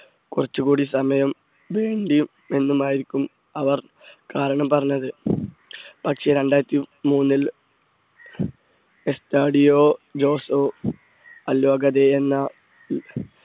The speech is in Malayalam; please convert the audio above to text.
കുറച്ചുകൂടി സമയം വേണ്ടി എന്നുമായിരിക്കുന്നു അവർ കാരണം പറഞ്ഞത് പക്ഷേ രണ്ടായിരത്തി മൂന്നിൽ കസ്റ്റാഡിയോ ജോസോ അല്ലു അഗൂതെ എന്ന